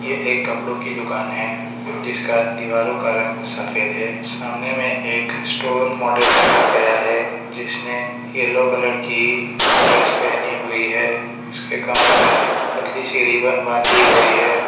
एक कपड़ों की दुकान है जिसका दीवारो का रंग सफेद है सामने में एक स्टोर मॉडल रखा गया है जिसने येलो कलर की ड्रेस पहनी हुई है उसके कमर में एक पतली सी रिबन बांधी गई है।